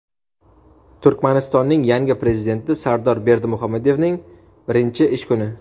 Turkmanistonning yangi Prezidenti Sardor Berdimuhamedovning birinchi ish kuni.